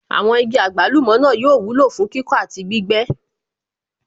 Àwọn igi àgbálùmọ̀ náà yóò wúlò fún kíkọ́ àti gbígbẹ́